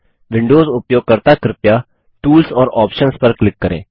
Windows उपयोगकर्ता कृपया tools और आप्शंस पर क्लिक करें